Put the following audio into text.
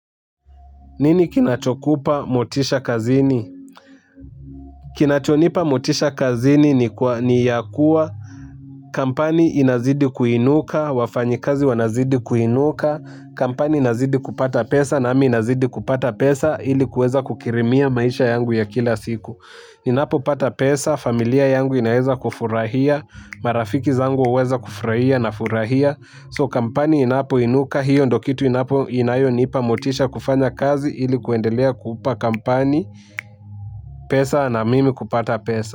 Nini kinachokupa motisha kazini? Kinachonipa motisha kazini ni ya kuwa kampani inazidi kuinuka, wafanyikazi wanazidi kuinuka, kampani inazidi kupata pesa nami nazidi kupata pesa ili kueza kukirimia maisha yangu ya kila siku. Ninapopata pesa, familia yangu inaweza kufurahia, marafiki zangu huweza kufurahia na furahia. "So" kampani inapoinuka hiyo ndio kitu inapo inayo nipa motisha kufanya kazi ili kuendelea kupa kampani pesa na mimi kupata pesa.